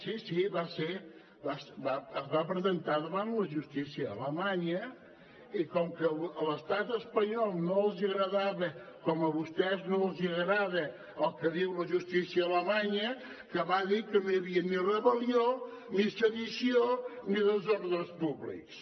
sí sí es va presentar davant la justícia alemanya i com que a l’estat espanyol no li agradava com que a vostès no els agrada el que diu la justícia alemanya que va dir que no hi havia ni rebel·lió ni sedició ni desordres públics